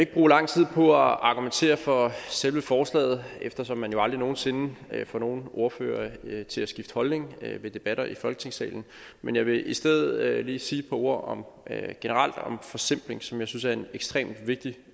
bruge lang tid på at argumentere for selve forslaget eftersom man jo aldrig nogen sinde får nogen ordfører til at skifte holdning ved debatter i folketingssalen men jeg vil i stedet lige generelt sige et par ord om forsimpling som jeg synes er en ekstremt vigtig